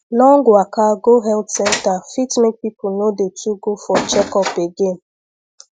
long waka go health center fit make people no dey too go for checkup again